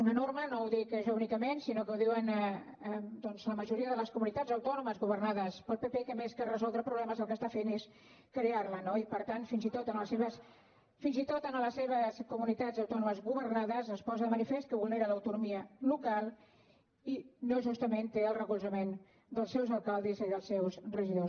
una norma no ho dic jo únicament sinó que ho diuen doncs la majoria de les comunitats autònomes governades pel pp que més que resoldre problemes el que està fent és crear ne no i per tant fins i tot en les seves comunitats autònomes governades es posa de manifest que vulnera l’autonomia local i no justament té el recolzament dels seus alcaldes ni dels seus regidors